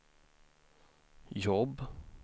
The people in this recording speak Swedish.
jobb